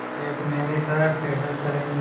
एक महीने तक पैदल चलेंगे